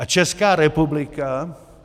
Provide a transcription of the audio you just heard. A Česká republika...